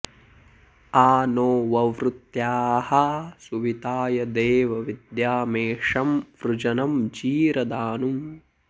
आ नो॑ ववृत्याः सुवि॒ताय॑ देव वि॒द्यामे॒षं वृ॒जनं॑ जी॒रदा॑नुम्